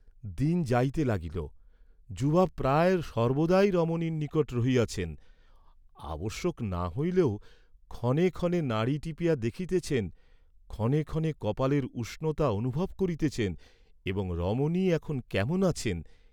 দিন যাইতে লাগিল; যুবা প্রায় সর্ব্বদাই রমণীর নিকট রহিয়াছেন, আবশ্যক না হইলেও ক্ষণে ক্ষণে নাড়ী টিপিয়া দেখিতেছেন, ক্ষণে ক্ষণে কপালের উষ্ণতা অনুভব করিতেছেন এবং রমণী এখন কেমন আছেন?